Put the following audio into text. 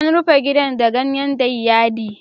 An yi rufin gidan da ganyen dayyadii.